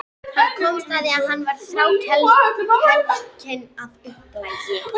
Hann komst að því að hann var þrákelkinn að upplagi.